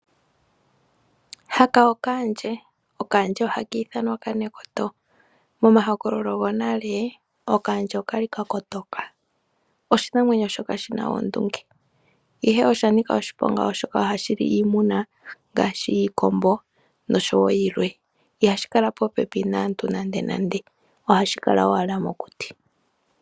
Okaandje ohaka ithanwa okanekoto. Momahokololo gonale okaandje oka li ka kotoka. Oshinamwenyo shoka shi na oondunge, ihe osha nika oshiponga oshoka ohashi li iimuna ngaashi iikombo noshowo yilwe. Ihashi kala popepi naantu nandenande, ohashi kala owala mokuti.